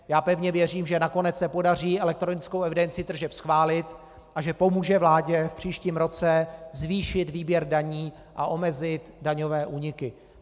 Já pevně věřím, že nakonec se podaří elektronickou evidenci tržeb schválit, a že pomůže vládě v příštím roce zvýšit výběr daní a omezit daňové úniky.